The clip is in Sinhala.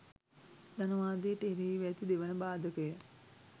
ධනවාදයට එරෙහිව ඇති දෙවන බාධකය